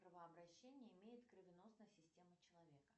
кровообращение имеет кровеносная система человека